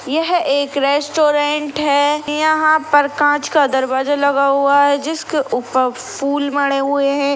यह एक रेस्टोरेंट है। यहाँ पर कांच का दरवाजा लगा हुआ है। जिसके ऊपर फूल मड़े हुए है।